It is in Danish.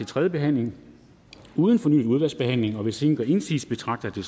tredje behandling uden fornyet udvalgsbehandling og hvis ingen gør indsigelse betragter